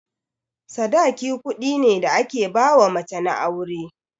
Sadaki kuɗi ne da ake ba mace na aure.